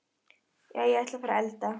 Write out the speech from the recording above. Jæja, ég ætla að fara að elda.